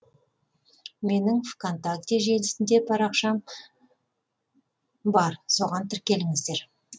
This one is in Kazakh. менің вконтакте желісінде парақшам бар соған тіркеліңіздер